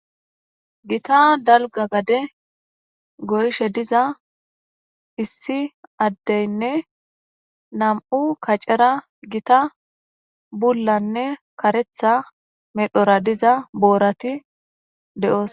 Gita dalgga gadde goyidii diza issi addey nam'ukaccera gita buullanne kareththa medhora diza boorati de'ossonna